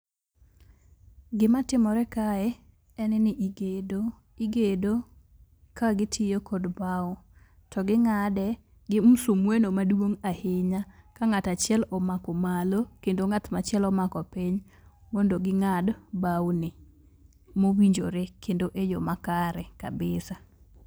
Gima timore kae, en ni igedo. Igedo ka gitiyo kod bao. To ging'ade gi musumeno maduong' ahinya, ka ng'ato achiel omako malo kendo ng'at machielo omako piny mondo ging'ad baoni mowinjore kendo eyo makare kabisa.